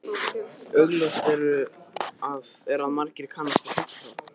Augljóst er að margir kannast við Helgu frá